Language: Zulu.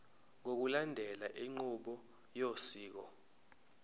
ngokulandela inqubo yosiko